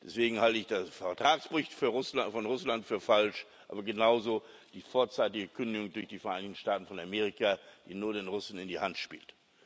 Deswegen halte ich den Vertragsbruch von Russland für falsch, aber genauso die vorzeitige Kündigung durch die Vereinigten Staaten von Amerika, die nur den Russen in die Hand spielt.